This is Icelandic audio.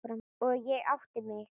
Og ég átti mig.